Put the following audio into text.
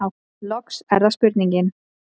Loks er það spurningin: